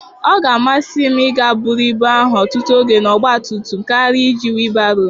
Ọ ga-amasị m ịga buru ibu ahụ ọtụtụ oge na ọgba tum tum karịa iji whịbaroo